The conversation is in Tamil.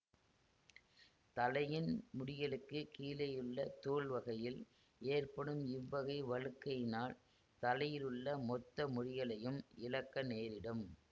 தலையின் முடிகளுக்குக் கீழேயுள்ள தோல் வகையில் ஏற்படும் இவ்வகை வழுக்கையினால் தலையிலுள்ள மொத்த முடிகளையும் இழக்க நேரிடும்